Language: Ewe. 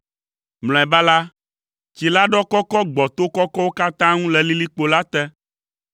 Mlɔeba la, tsi la ɖɔ kɔkɔ gbɔ to kɔkɔwo katã ŋu le lilikpo la te,